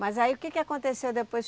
Mas aí o que que aconteceu depois?